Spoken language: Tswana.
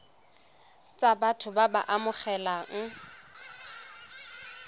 tsa batho ba ba amegang